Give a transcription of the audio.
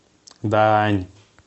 даань